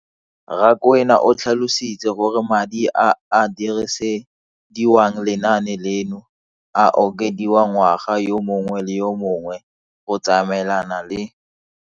Rakwena o tlhalositse gore madi a a dirisediwang lenaane leno a okediwa ngwaga yo mongwe le yo mongwe go tsamaelana le